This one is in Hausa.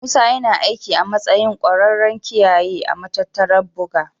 Musa yana aiki a matsayin ƙwararren kiyaye a matattarar buga.